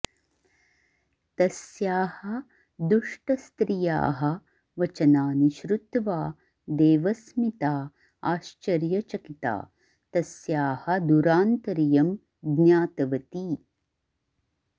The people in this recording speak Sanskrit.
तस्याः दुष्टस्त्रियाः वचनानि श्रुत्वा देवस्मिता आश्चर्यचकिता तस्याः दुरान्तर्यं ज्ञातवती